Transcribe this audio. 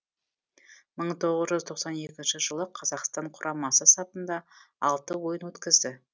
мың тоғыз жүз тоқсан екінші жылы қазақстан құрамасы сапында алты ойын өткізді